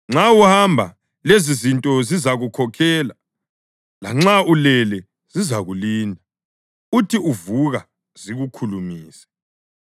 Nxa uhamba, lezizinto zizakukhokhela; lanxa ulele zizakulinda; uthi uvuka zikukhulumise.